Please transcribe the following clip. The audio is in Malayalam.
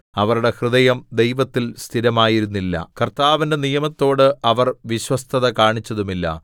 അവരുടെ ഹൃദയം ദൈവത്തിൽ സ്ഥിരമായിരുന്നില്ല കർത്താവിന്റെ നിയമത്തോട് അവർ വിശ്വസ്തത കാണിച്ചതുമില്ല